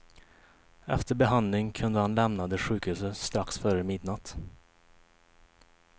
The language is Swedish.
Efter behandling kunde han lämnade sjukhuset strax före midnatt.